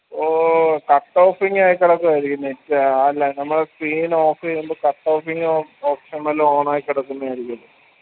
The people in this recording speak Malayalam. ഓ cut offing ആയി കെടക്കു ആയിരിക്കും net ആ ല്ലേ നമ്മടെ screen off എയ്യുമ്പോ cut offing option വല്ലോം on ആയി കെടക്കുന്നയായിരിക്കും